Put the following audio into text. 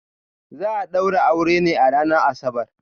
Za a daura auren ne a ranar Asabar.